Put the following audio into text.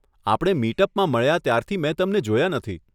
આપણે મીટ અપમાં મળ્યાં ત્યારથી મેં તમને જોયા નથી.